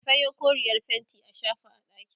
ka Sayo koreyar fainti a shafa a ɗakin